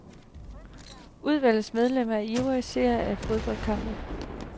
Udvalgets medlemmer er ivrige seere af fodboldkampe.